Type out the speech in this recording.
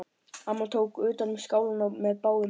Amma tók utan um skálina með báðum höndum.